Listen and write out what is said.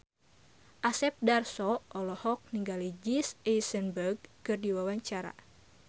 Asep Darso olohok ningali Jesse Eisenberg keur diwawancara